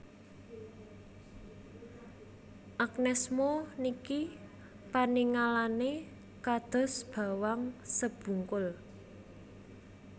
Agnez Mo niki paningalane kados bawang sebungkul